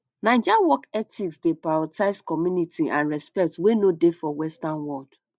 naija work ethics dey prioritize community and respect wey no dey for western world